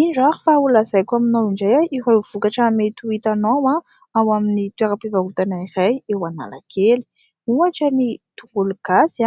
Indro ary fa holazaiko aminao indray ireo vokatra mety ho hitanao ao amin'ny toeram-pivarotana iray eo Analakely ohatra : ny tongologasy,